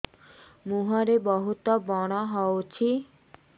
ମୁଁହରେ ବହୁତ ବ୍ରଣ ହଉଛି